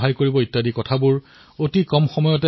আজি দেশৰ সকলো স্থানতে কিবা নহয় কিবা এটা উদ্ভাৱন হৈছে